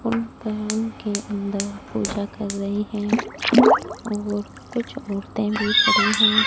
उन के अंदर पूजा कर रहे हैं और कुछ औरतें भी खड़े हैं।